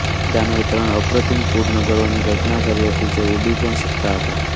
મય દાનવે ત્રણ અપ્રતિમ પુર નગરોની રચના કરી હતી જે ઉડી઼ પણ શકતા હતા